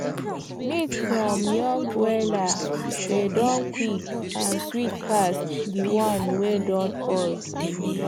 meat from young broiler dey Accepted quick and sweet pass the one wey don old